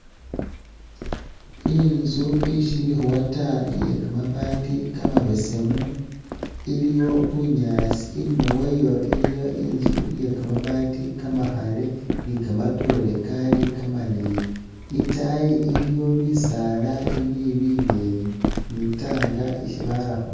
Intsu ishili khuwa taa iye kamaabati kamabeesemu iliyo bunyaasi inyuma wayo iliyo intsu iye kamaabati kamakhale ni kamatoore kali kamaleeyi ,itayi iliyo bisaala ibili bileeyi ni tank isi bara khu